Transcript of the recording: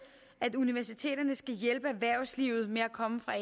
at universiteterne skal hjælpe erhvervslivet med at komme fra